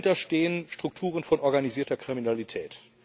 Dahinter stehen Strukturen von organisierter Kriminalität.